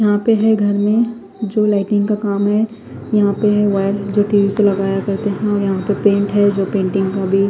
यहा पे है घर में जो लाइटिंग का काम है यहा पे है वायेर जो टी_वि के लगाये जाते है और यहा पे प्रिंट है जो पैन्टिन्ग का भी--